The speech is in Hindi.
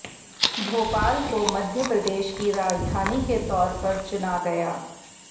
भोपाल को मध्यप्रदेश की राजधानी के तौर पर चुना गया